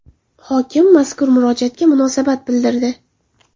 Hokim mazkur murojaatga munosabat bildirdi.